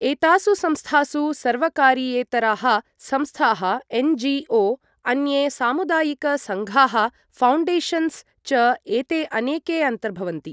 एतासु संस्थासु सर्वकारीयेतराः संस्थाः एन.जी.ओ. , अन्ये सामुदायिक सङ्घाः, फाउण्डेशन्स् च एते अनेके अन्तर्भवन्ति।